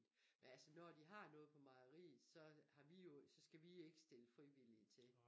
Men altså når de har noget på mejeriet så har vi jo skal vi ikke stille friviliige til